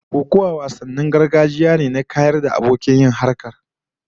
Kokuwa wasan gargajiya ne ta neman kayar da abokin yi har kasa, a kan bayan sa